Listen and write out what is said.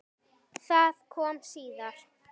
Það kom síðar.